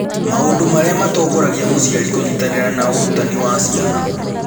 Maũndũ Marĩa Matongoragia Mũciari Kũnyitanĩra na Ũrutani wa Ciana